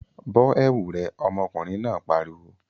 Bọ́ ẹ̀wu rẹ! ọmọkùnrin náà pariwo!